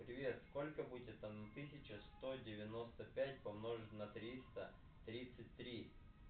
привет сколько будет одна тысяча сто девяносто пять помножить на триста тридцать три